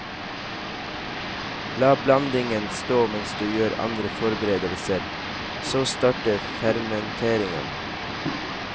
La blandingen stå mens du gjør andre forberedelser, så starter fermenteringen.